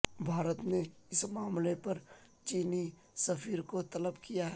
بھارت نے اس معاملے پر چینی سفیر کو طلب کیا ہے